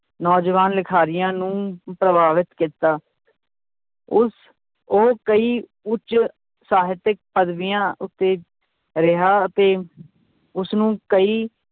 ਨੌਜਵਾਨ ਲਿਖਾਰੀਆਂ ਨੂੰ ਪ੍ਰਭਾਵਿਤ ਕੀਤਾ ਉਸ ਉਹ ਕਈ ਉੱਚ ਸਾਹਿਤਕ ਪਦਵੀਆਂ ਉੱਤੇ ਰਿਹਾ ਅਤੇ ਉਸਨੂੰ ਕਈ